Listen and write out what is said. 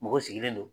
Mɔgɔ sigilen don